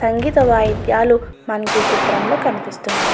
సంగీత వాయిద్యాలు మనకి ఈ చిత్రంలో కనిపిస్తున్నాయి.